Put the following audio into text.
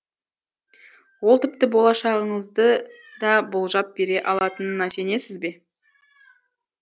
ол тіпті болашағыңызды да болжап бере алатынына сенесіз бе